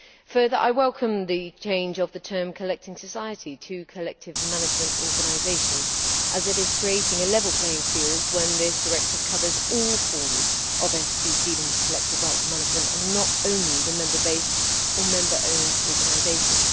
Further, I welcome the change of the term collecting society' to collective management organisation', as it is creating a level playing field when this directive covers all forms of entities dealing with collective rights management, and not only the member based or member owned organisations.